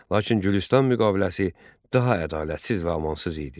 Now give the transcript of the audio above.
Lakin Gülüstan müqaviləsi daha ədalətsiz və amansız idi.